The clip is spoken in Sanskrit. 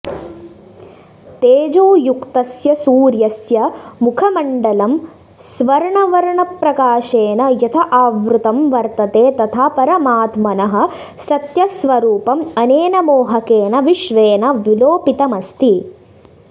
तेजोयुक्तस्य सूर्यस्य मुखमण्डलं स्वर्णवर्णप्रकाशेन यथा आवृतं वर्तते तथा परमात्मनः सत्यस्वरूपम् अनेन मोहकेन विश्वेन विलोपितमस्ति